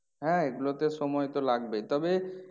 হ্যাঁ এই গুলোতে সময় তো লাগবেই তবে